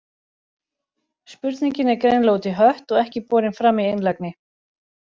Spurning er greinilega út í hött og ekki borin fram í einlægni.